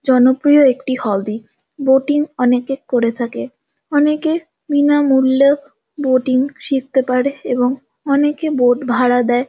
জনপ্রিয় একটি hobby. Boating অনেকে করে থাকে। অনেকে বিনামূল্যে বোটিং শিখতে পারে এবং অনেকে বোট ভাড়া দেয়।